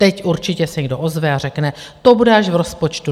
Teď určitě se někdo ozve a řekne, to bude až v rozpočtu.